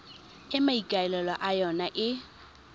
e maikaelelo a yona e